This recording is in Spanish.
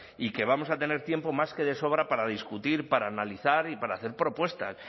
y que vamos a tener tiempo más que de sobra para discutir para analizar y para hacer propuestas